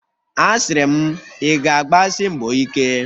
A siri m, ị ga-agbasi mbọ ike!